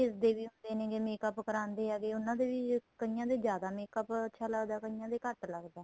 age ਦੇ ਵੀ ਹੁੰਦੇ ਨੇ makeup ਕਰਾਦੇ ਹੈਗੇ ਉਹਨਾ ਦੇ ਵਿੱਚ ਕਈਆਂ ਦੇ ਜਿਆਦਾ makeup ਅੱਛਾ ਲੱਗਦਾ ਕਈਆਂ ਦੇ ਘੱਟ ਲੱਗਦਾ ਏ